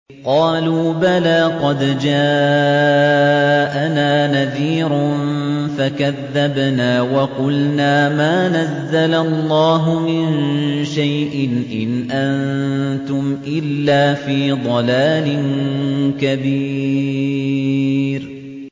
قَالُوا بَلَىٰ قَدْ جَاءَنَا نَذِيرٌ فَكَذَّبْنَا وَقُلْنَا مَا نَزَّلَ اللَّهُ مِن شَيْءٍ إِنْ أَنتُمْ إِلَّا فِي ضَلَالٍ كَبِيرٍ